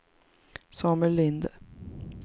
Samuel Linde